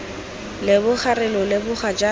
leboga re lo leboga jaaka